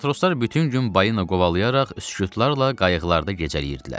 Matroslar bütün gün balina qovalayaraq sükutlarla qayıqlarda gecələyirdilər.